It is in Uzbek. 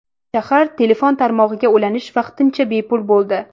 Shahar telefon tarmog‘iga ulanish vaqtincha bepul bo‘ldi.